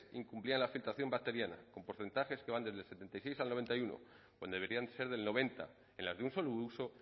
incumplían la filtración bacteriana con porcentajes que van desde el setenta y seis al noventa y uno cuando deberían ser del noventa en las de un solo uso